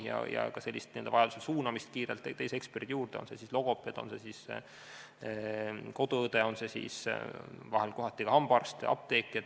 Vajaduse korral saab inimese kiiresti suunata teise eksperdi juurde, on see logopeed, on see koduõde, on see hambaarst või ka apteeker.